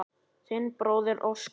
Þinn bróðir Óskar.